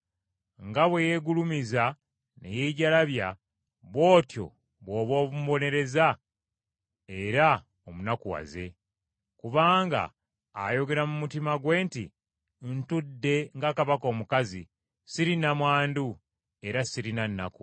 Nga bwe yeegulumiza ne yeejalabya, bw’otyo bw’oba omubonereza era omunakuwaze, kubanga ayogera mu mutima gwe nti, ‘Ntudde nga kabaka omukazi, siri nnamwandu, era sirina nnaku.’